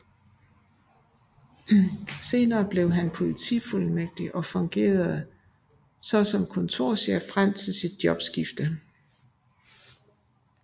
Senere blev han politifuldmægtig og fungerede så som kontorchef frem til sit jobskifte